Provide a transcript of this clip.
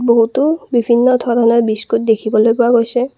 বহুতো বিভিন্ন ধৰণৰ বিস্কুট দেখিবলৈ পোৱা গৈছে।